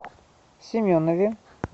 семенове